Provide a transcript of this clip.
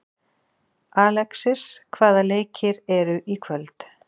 Alexis, hvaða leikir eru í kvöld?